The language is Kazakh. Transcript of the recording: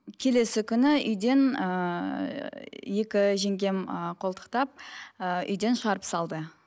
келесі күні үйден ііі екі жеңгем ііі қолтықтап ііі үйден шығарып салды